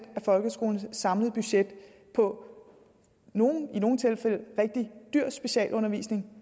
af folkeskolens samlede budget på i nogle tilfælde rigtig dyr specialundervisning